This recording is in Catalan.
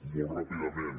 molt ràpidament